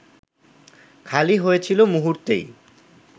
খালি হয়েছিল মুহূর্তেই